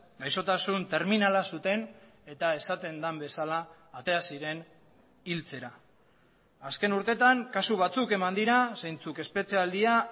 gaixotasun terminala zuten eta esaten den bezala atea ziren hiltzera azken urtetan kasu batzuk eman dira zeintzuk espetxe aldia